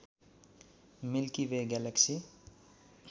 milky way galaxy